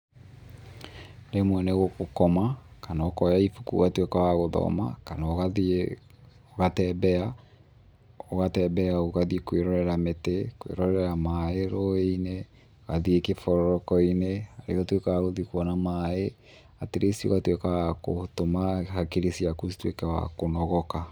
Rĩmwe nĩ gũkoma kana ũkoya ibuku ũgatuĩka wa gũthoma, kana ũgathiĩ ũgatembea, ũgatembea ũgathiĩ kwĩrorera mĩtĩ, kwĩrorera maĩ rũĩ-inĩ, ugathĩ kĩbororoko-inĩ, nĩguo ũtuĩke wa gũthiĩ kuona maĩ at least ũgatuĩka wa gũtũma hakiri ciaku cituĩke wa kũnogoka.